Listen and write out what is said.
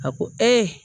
A ko